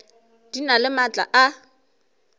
di na le maatla a